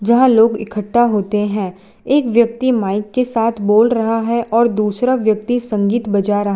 जहां लोग इकट्ठा होते हैं एक व्यक्ति माइक के साथ बोल रहा है और दूसरा व्यक्ति संगीत बजा रहा--